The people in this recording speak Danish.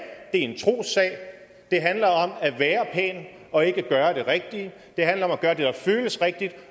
en trossag og at være pæn og ikke om at gøre det rigtige det handler om at gøre det der føles rigtigt